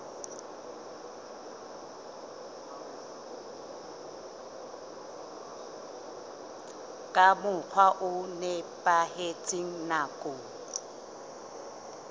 ka mokgwa o nepahetseng nakong